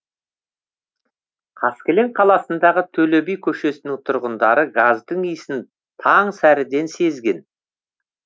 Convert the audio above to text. қаскелең қаласындағы төле би көшесінің тұрғындары газдың иісін таң сәріден сезген